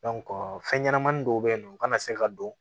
fɛn ɲɛnamanin dɔw bɛ yen nɔ u kana se ka don